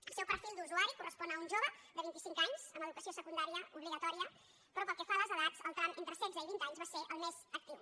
el seu perfil d’usuari correspon a un jove de vint i cinc anys amb educació secundària obligatòria però pel que fa a les edats el tram entre setze i vint anys va ser el més actiu